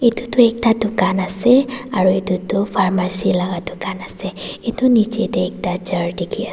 edu tu ekta dukan ase aru edu tu farmacy laka dukan ase edu nichae tae ekta chair dikhi--